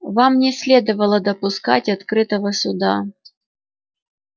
вам не следовало допускать открытого суда